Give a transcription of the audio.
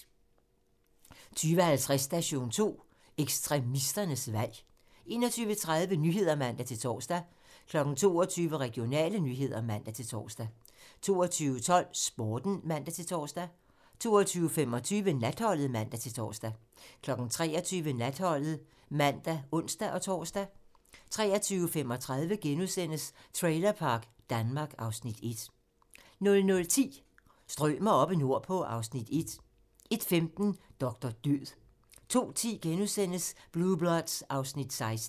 20:50: Station 2: Ekstremisternes valg 21:30: Nyhederne (man-tor) 22:00: Regionale nyheder (man-tor) 22:12: Sporten (man-tor) 22:25: Natholdet (man-tor) 23:00: Natholdet (man og ons-tor) 23:35: Trailerpark Danmark (Afs. 1)* 00:10: Strømer oppe nordpå (Afs. 1) 01:15: Doktor død 02:10: Blue Bloods (Afs. 16)*